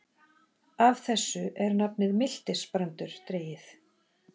Af þessu er nafnið miltisbrandur dregið.